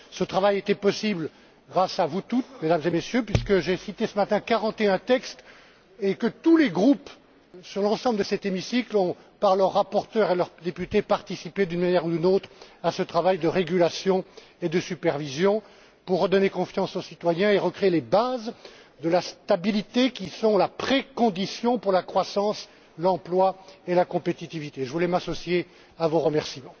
Ce travail a été possible grâce à vous tous, Mesdames et Messieurs, puisque j'ai cité ce matin 41textes et que tous les groupes de l'ensemble de cet hémicycle ont participé, par l'intermédiaire de leurs rapporteurs et de leurs députés, d'une manière ou d'une autre à ce travail de régulation et de supervision pour redonner confiance aux citoyens et recréer les bases de la stabilité, qui sont la condition préalable à la croissance, à l'emploi et à la compétitivité. Je voulais m'associer à vos remerciements.